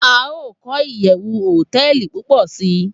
A o ko iyewu hoteeli pupo si